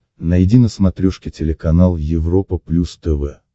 найди на смотрешке телеканал европа плюс тв